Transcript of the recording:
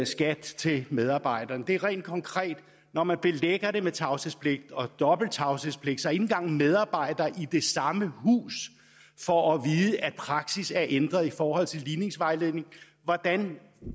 skat til medarbejderne det er rent konkret når man belægger det med tavshedspligt og dobbelt tavshedspligt så ikke engang medarbejdere i det samme hus får at vide at praksis er ændret i forhold til ligningsvejledningen hvordan